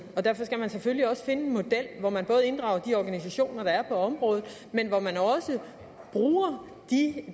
og derfor skal man selvfølgelig også finde en model hvor man både inddrager de organisationer der er på området men hvor man også bruger